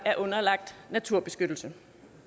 vedtaget